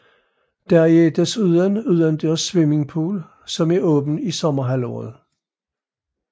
Der er desuden udendørs swimmingpool som er åben i sommerhalvåret